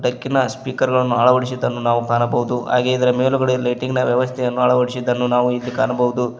ಡಕ್ಕಿನ speaker ಗಳನ್ನು ಅಳವಡಿಸಿದ್ದನ್ನ ಕಾಣಬಹುದು ಹಾಗೆ ಇದರ ಮೇಲುಗಡೆ ಲೈಟಿಂಗ್ ನ ವ್ಯವಸ್ಥೆಯನ್ನು ಕಾಣಬಹುದು.